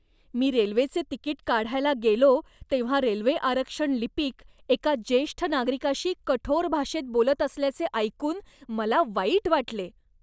मी रेल्वेचे तिकीट काढायला गेलो तेव्हा रेल्वे आरक्षण लिपिक एका ज्येष्ठ नागरिकाशी कठोर भाषेत बोलत असल्याचे ऐकून मला वाईट वाटले.